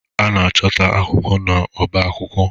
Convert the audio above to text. A na-achọta akwụkwọ n'ọba akwụkwọ.